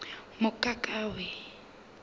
mokakawe